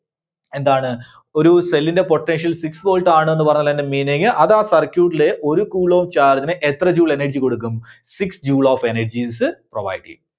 എന്താണ്? ഒരു cell ന്റെ potential six volt ആണെന്ന് പറഞ്ഞാൽ അതിന്റെ meaning അത് ആ circuit ലെ ഒരു coulomb charge ന് എത്ര Joule energy കൊടുക്കും? Six Joule of energies provide ചെയ്യും.